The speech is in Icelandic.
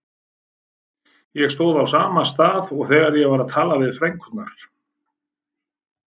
Ég stóð á sama stað og þegar ég var að tala við frænkurnar.